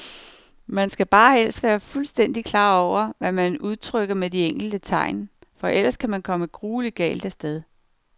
Man skal bare helst være fuldstændigt klar over, hvad man udtrykker med de enkelte tegn, for ellers kan man komme grueligt galt af sted.